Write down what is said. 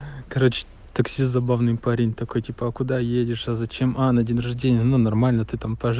короче таксист забавный парень такой типа а куда едешь а зачем а на день рождения ну нормально ты там пож